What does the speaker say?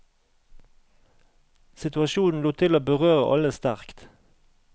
Situasjonen lot til å berøre alle sterkt.